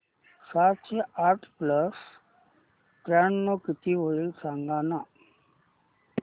सातशे आठ प्लस त्र्याण्णव किती होईल सांगना